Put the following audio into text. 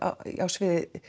á sviði